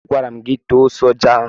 Agwara m gị taa ose ọjị ahụ!